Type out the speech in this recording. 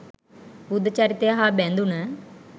බුද්ධ චරිතය හා බැඳුණ